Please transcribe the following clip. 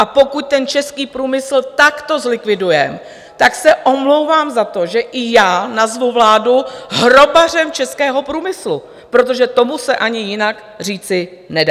A pokud ten český průmysl takto zlikvidujeme, tak se omlouvám za to, že i já nazvu vládu hrobařem českého průmyslu, protože tomu se ani jinak říci nedá.